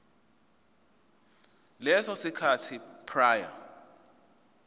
leso sikhathi prior